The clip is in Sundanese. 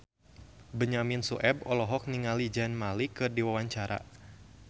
Benyamin Sueb olohok ningali Zayn Malik keur diwawancara